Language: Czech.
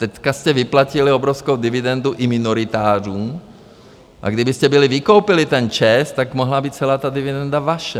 Teď jste vyplatili obrovskou dividendu i mimoritářům, a kdybyste byli vykoupili ten ČEZ, tak mohla být celá ta dividenda vaše.